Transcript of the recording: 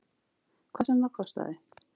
Hvað sem það kostaði.